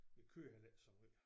Vi kører heller ikke så måj